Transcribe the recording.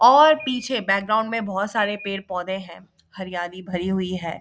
और पीछे बैकग्राउंड में बहुत सारे पेड़ पौधे हैं हरियाली भरी हुई है।